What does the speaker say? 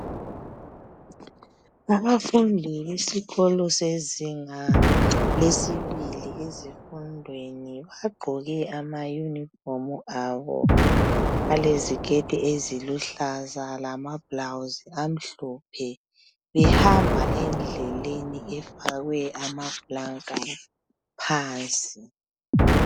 Abafundi besikolo sezinga lesibili ezifundweni bagqoke amyunifomu abo aleziketi eziluhlaza lamablawuzi amhlophe behamba endleleni efakwe amaplulanka phansi.